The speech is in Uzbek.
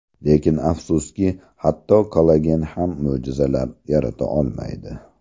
Lekin, afsuski hatto kollagen ham mo‘jizalar yarata olmaydi.